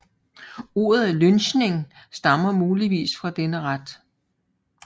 Ordet lynching stammer muligvis fra denne ret